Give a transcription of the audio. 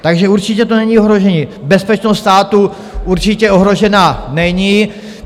Takže určitě to není ohrožení, bezpečnost státu určitě ohrožena není.